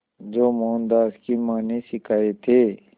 जो मोहनदास की मां ने सिखाए थे